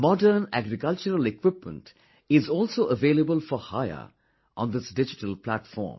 Modern agricultural equipment is also available for hire on this digital platform